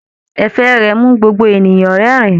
Ẹ̀fẹ̀ rẹ mú gbogbo ènìyàn rẹ́rìn.